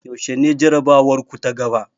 Yaushe ne jarabawarku ta gaba?